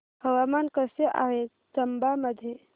हवामान कसे आहे चंबा मध्ये